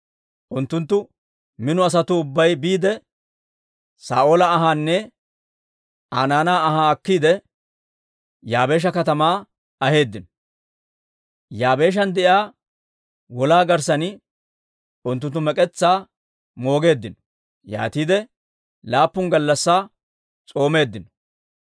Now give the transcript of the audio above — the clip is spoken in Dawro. unttunttu mino asatuu ubbay biide, Saa'oola anhaanne Aa naanaa ahaa akkiide, Yaabeesha katamaa aheeddino. Yaabeeshan de'iyaa wolaa garssan unttunttu mek'etsaa moogeeddino; yaatiide laappun gallassaa s'oomeeddino.